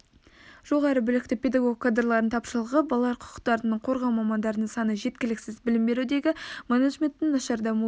жоғары білікті педагог кадрлардың тапшылығы балалар құқықтарын қорғау мамандарының саны жеткіліксіз білім берудегі менеджменттің нашар дамуы